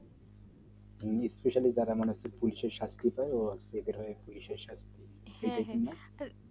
specali সাক্ষীটো